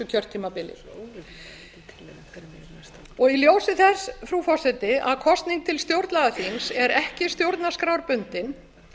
kjörtímabili í ljósi þess frú forseti að kosning til stjórnlagaþings er ekki stjórnarskrárbundin